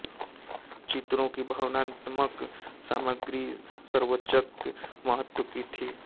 चित्रों की भावनात्मक सामग्री सर्वोच्च महत्व की थी